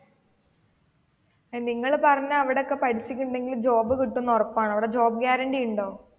നിങ്ങൾ പറഞ്ഞ അവിടെയൊക്കെ പഠിച്ചിട്ടുണ്ടെങ്കിൽജോബ് കിട്ടുമെന്ന് ഉറപ്പാണോ അവിടെ ജോബ് ഗ്യാരണ്ടി ഉണ്ടോ?